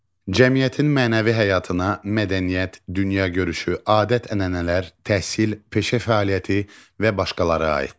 Cəmiyyətin mənəvi həyatına mədəniyyət, dünyagörüşü, adət-ənənələr, təhsil, peşə fəaliyyəti və başqaları aiddir.